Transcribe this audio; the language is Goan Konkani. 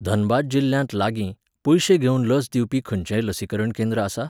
धनबाद जिल्ल्यांत लागीं, पयशे घेवन लस दिवपी खंयचेंय लसीकरण केंद्र आसा?